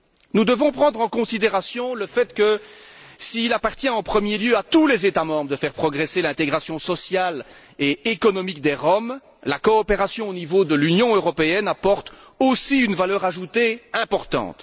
Nous devons prendre en considération le fait que, s'il appartient en premier lieu à tous les États membres de faire progresser l'intégration sociale et économique des Roms, la coopération au niveau de l'Union européenne apporte aussi une valeur ajoutée importante.